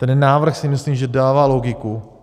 Ten návrh, si myslím, že dává logiku.